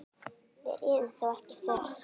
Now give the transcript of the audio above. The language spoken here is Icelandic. Við réðum þó ekki för.